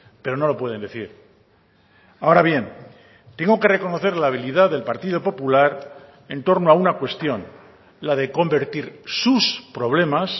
pero no lo pueden decir ahora bien tengo que reconocer la habilidad del partido popular en torno a una cuestión la de convertir sus problemas